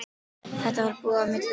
Þetta var búið á milli okkar.